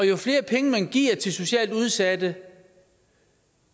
jo flere penge man giver til socialt udsatte